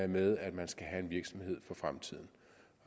med at man skal have en virksomhed for fremtiden